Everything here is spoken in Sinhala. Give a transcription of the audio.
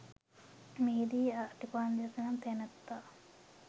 මෙහිදී අතිපණ්ඩිත නම් තැනැත්තා